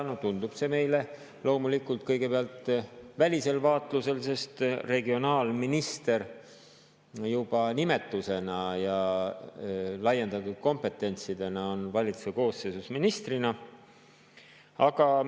Nii tundub see meile loomulikult kõigepealt välisel vaatlusel, sest regionaalminister juba oma nimetuse ja laiendatud kompetentside poolest on valitsuse koosseisus olev minister.